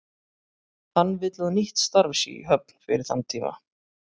Hann vill að nýtt starf sé í höfn fyrir þann tíma.